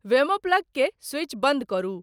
वेमो plug के switch बंद करु